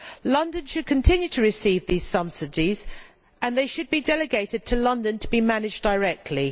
London should continue to receive these subsidies and they should be delegated to London to be managed directly.